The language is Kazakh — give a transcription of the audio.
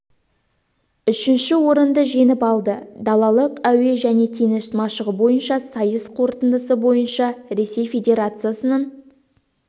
үшінші орынды жеңіп алды далалық әуе және теңіз машығы бойынша сайыс қорытындысы бойынша ресей федерациясының